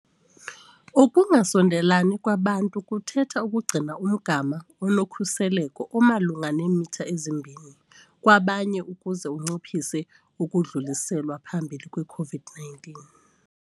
Ukungasondelelani kwabantu kuthetha ukugcina umgama onokhuseleko omalunga neemitha ezi-2 kwabanye ukuze unciphise ukudluliselwa phambili kwe-COVID-19 .